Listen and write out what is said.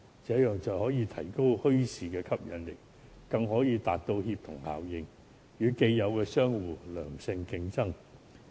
這樣便可以提高墟市的吸引力，達到協同效應，令墟市可以與既有商戶作良性競爭。